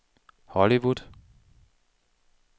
Hollywood